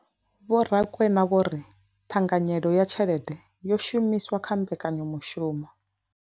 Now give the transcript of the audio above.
Vho Rakwena vho ri ṱhanganyelo ya tshelede yo shumiswaho kha mbekanyamushumo.